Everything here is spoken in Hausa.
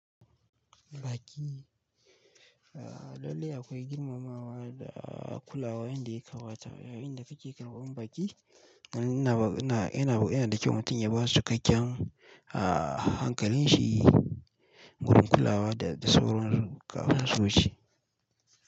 Baƙi, dole akwai girmamawa da kulawa yanda ya kawata. Irin wa'inda suke karɓan baki, yana da kyau mutum ya basu cikakkan hankalin shi wurin kulawa da sauran kasusuuci.